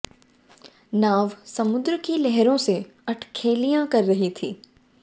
नाव समुद्र की लहरों से अठखेलियां कर रही थी